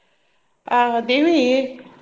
ಆಹ್ ದೇವಿ.